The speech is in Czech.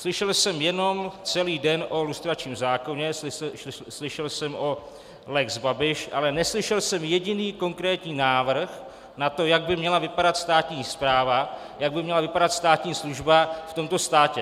Slyšel jsem jenom celý den o lustračním zákoně, slyšel jsem o lex Babiš, ale neslyšel jsem jediný konkrétní návrh na to, jak by měla vypadat státní správa, jak by měla vypadat státní služba v tomto státě.